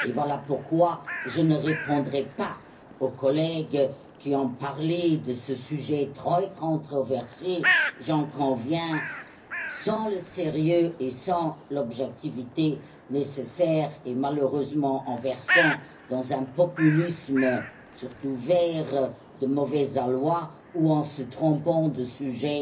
Voilà pourquoi je ne répondrai pas aux collègues qui ont parlé de ce sujet très controversé j'en conviens sans le sérieux et sans l'objectivité nécessaires et, malheureusement, en versant dans un populisme surtout de la part des Verts de mauvais aloi, ou en se trompant de sujet,